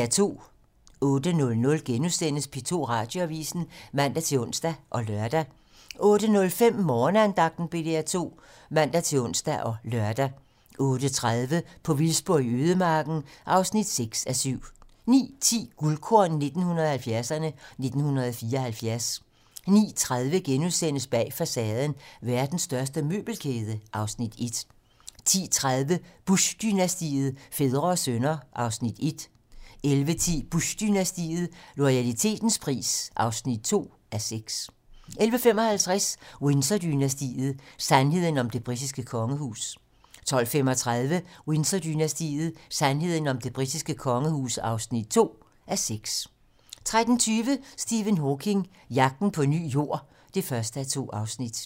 08:00: P2 Radioavisen *(man-ons og lør) 08:05: Morgenandagten på DR2 (man-ons og lør) 08:30: På vildspor i ødemarken (6:7) 09:10: Guldkorn 1970'erne: 1974 09:30: Bag facaden: Verdens største møbelkæde (Afs. 1)* 10:30: Bush-dynastiet - fædre og sønner (1:6) 11:10: Bush-dynastiet - loyalitetens pris (2:6) 11:55: Windsor-dynastiet: Sandheden om det britiske kongehus 12:35: Windsor-dynastiet: Sandheden om det britiske kongehus (2:6) 13:20: Stephen Hawking: Jagten på en ny Jord (1:2)